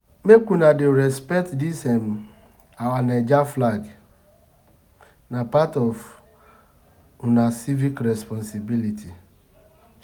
Make una dey respect dis um our Naija flag, na part of una civic responsibility.